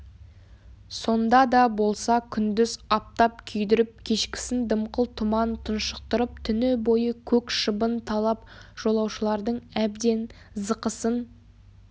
сонда да болса күндіз аптап күйдіріп кешкісін дымқыл тұман тұншықтырып түні бойы көк шыбын талап жолаушылардың әбден зықысын